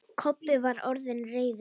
Kobbi var orðinn reiður.